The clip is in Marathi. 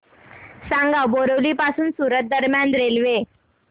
सांगा बोरिवली पासून सूरत दरम्यान रेल्वे